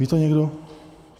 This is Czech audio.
Ví to někdo?